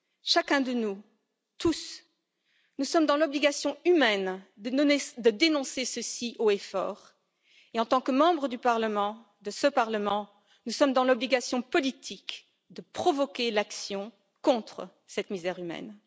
Chacun de nous, tous, nous sommes dans l'obligation humaine de dénoncer cela haut et fort, et en tant que membres de ce Parlement, nous sommes dans l'obligation politique de provoquer l'action contre cette misère humaine.